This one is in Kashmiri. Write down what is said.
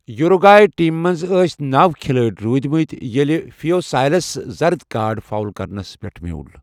یوٗروٗگٲیی ٹیٖمہِ منز ٲسٖی نَو کِھلٲڑۍ روٗدۍمٕتۍ ییلہِ فیوسایلس زرد کارڈ فاول کرنس پیٹھ میول۔